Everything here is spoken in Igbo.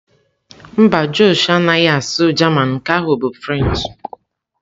Mba, Josh anaghị asụ German, nke ahụ bụ French.